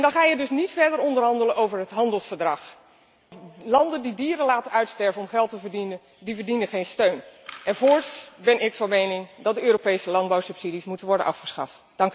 En dan ga je dus niet verder onderhandelen over een handelsverdrag, want landen die dieren laten uitsterven om geld te verdienen, die verdienen geen steun. Voorts ben ik van mening dat de Europese landbouwsubsidies moeten worden afgeschaft.